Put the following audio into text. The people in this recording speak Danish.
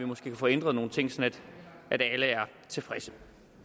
måske kan få ændret nogle ting sådan at alle er tilfredse